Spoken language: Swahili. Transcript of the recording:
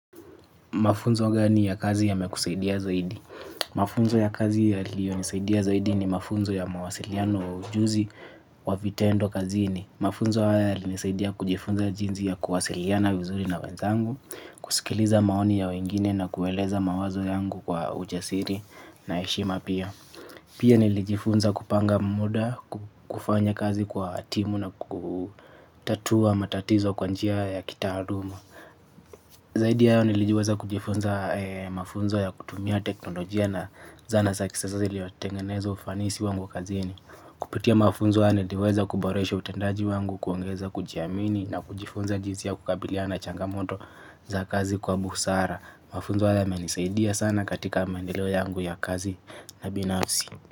Mafunzo gani ya kazi yamekusaidia zaidi. Mafunzo ya kazi yaliyo nisaidia zaidi ni mafunzo ya mawasiliano ujuzi wa vitendo kazini. Mafunzo haya yali nisaidia kujifunza jinsi ya kuwasiliana vizuri na wenzangu, kusikiliza maoni ya wengine na kueleza mawazo yangu kwa ujasiri na heshima pia. Pia nilijifunza kupanga muda, kufanya kazi kwa timu na kutatua matatizo kwa njia ya kitaaluma. Zaidi ya hayo nilijiweza kujifunza mafunzo ya kutumia teknolojia na zana za kisasa ziliotengeneza ufanisi wangu wa kazini. Kupitia mafunzo ya niliweza kuboresha utendaji wangu, kuongeza kujiamini na kujifunza jinsi ya kukabiliana na changamoto za kazi kwa busara. Mafunzo haya yamenisaidia sana katika maendeleo yangu ya kazi na binafsi.